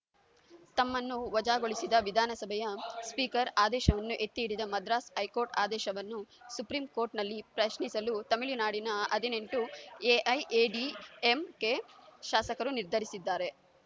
ತಮ್ಮನ್ನು ವಜಾಗೊಳಿಸಿದ ವಿಧಾನಸಭೆಯ ಸ್ಪೀಕರ್‌ ಆದೇಶವನ್ನು ಎತ್ತಿಹಿಡಿದ ಮದ್ರಾಸ್‌ ಹೈಕೋರ್ಟ್‌ ಆದೇಶವನ್ನು ಸುಪ್ರೀಂಕೋರ್ಟ್‌ನಲ್ಲಿ ಪ್ರಶ್ನಿಸಲು ತಮಿಳುನಾಡಿನ ಹದಿನೆಂಟು ಎಐಎಡಿಎಂಕೆ ಶಾಸಕರು ನಿರ್ಧರಿಸಿದ್ದಾರೆ